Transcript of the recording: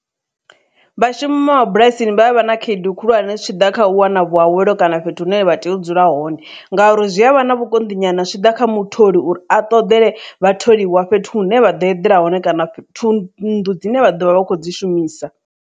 Vhashumi vha mabulasini vha avha khaedu khulwane zwi tshi ḓa kha u wana vhuawelo kana fhethu hune vha tea u dzula hone ngauri zwi havha na vhukonḓi nyana zwi tshi ḓa kha mutholi uri a ṱoḓele vhatholiwa fhethu hune vha ḓo eḓela hone kana nnḓu dzine vha ḓovha vha kho dzi shumisa.